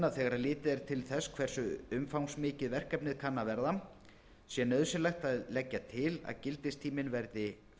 að þegar litið er til þess hversu umfangsmikið verkefnið kann að verða sé nauðsynlegt að leggja til að gildistíminn verði til fyrsta